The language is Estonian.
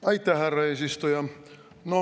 Aitäh, härra eesistuja!